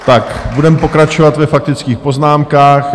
Tak budeme pokračovat ve faktických poznámkách.